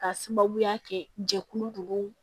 K'a sababuya kɛ jɛkulu ninnu